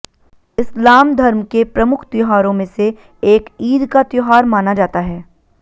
इस्लाम धर्म के प्रमुख त्योहारों में से एक ईद का त्योहार माना जाता है